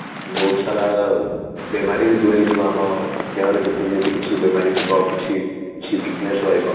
ବହୁତ ସାରା ବେମାରୀ ବି ଦୂରେଇଯିବ ଆମ ଦେହରେ ଯେତେବି ଯଦି କିଛି ବେମାରୀ ଥିବ କିଛି weakness ରହିବ